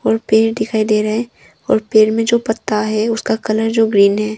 और पेड़ दिखाई दे रहा है और पेड़ में जो पत्ता है उसका कलर ग्रीन है।